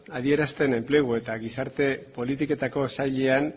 adierazten enplegu eta gizarte politiketako sailean